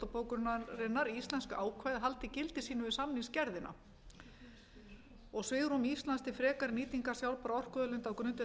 bókunarinnar haldi gildi sínu við samningsgerðina svigrúm íslands til frekari nýtingar sjálfbærra orkuauðlinda á grundvelli